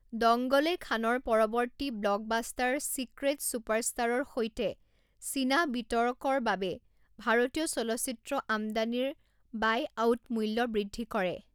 দংগলে খানৰ পৰৱৰ্তী blockbuster secret চুপাৰষ্টাৰৰ সৈতে চীনা বিতৰকৰ বাবে ভাৰতীয় চলচ্চিত্ৰ আমদানিৰ বাইআউট মূল্য বৃদ্ধি কৰে।